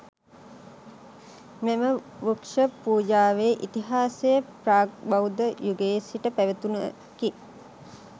මෙම වෘක්ෂ පූජාවේ ඉතිහාසය ප්‍රාග් බෞද්ධ යුගයේ සිට පැවතුණකි.